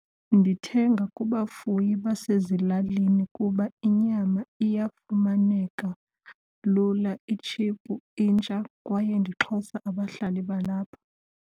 Ndithenga kubafuyi basezilalini kuba inyama iyafumaneka lula, itshiphu, intsha kwaye ndixhasa abahlali balapha.